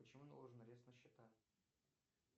почему наложен арест на счета